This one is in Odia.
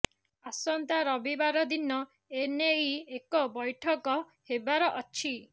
ଆସନ୍ତା ରବିବାର ଦିନ ଏନେଇ ଏକ ବ୘ଠକ ହେବାର ଅଛି